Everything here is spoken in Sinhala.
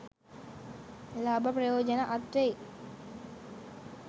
ලාභ ප්‍රයෝජන අත්වෙයි.